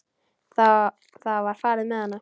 Það var farið með hana.